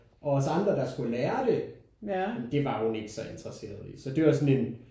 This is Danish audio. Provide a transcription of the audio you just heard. Og os andre der skulle lære det det var hun ikke så interesseret i. Så det var sådan en